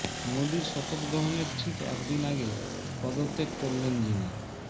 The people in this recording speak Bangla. মোদির শপথ গ্রহণের ঠিক একদিন আগে পদত্যাগ করলেন যিনি